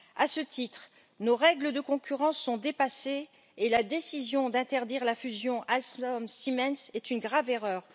À ce titre, nos règles de concurrence sont dépassées et la décision d'interdire la fusion Alstom Siemens est une grave erreur.